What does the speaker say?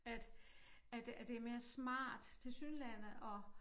At at det at det er mere smart tilsyneladende at